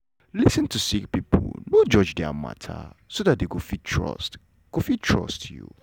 lis ten to sick pipo no judge dia mata so dat dem go fit trust go fit trust you.